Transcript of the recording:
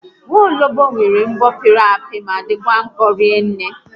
Nwologbo nwere mbọ pịrị apị ma dịkwa nkọ rinne